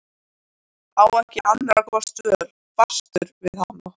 Á ekki annarra kosta völ, fastur við hana.